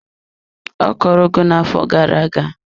Ọ kọrọ ugu na-afọ gara aga.